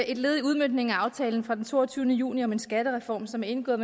et led i udmøntningen af aftalen fra den toogtyvende juni om en skattereform som er indgået